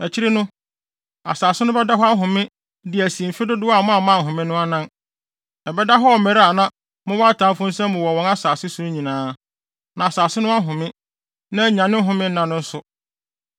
Akyiri no, asase no bɛda hɔ ahome de asi mfe dodow a moamma anhome no anan; ɛbɛda hɔ wɔ mmere a mowɔ atamfo nsam wɔ wɔn nsase so no nyinaa. Na asase no ahome, na anya ne home nna nso.